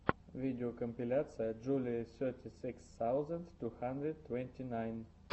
видеокомпиляция джулии сети сикс саузенд ту хандрид твэнти найн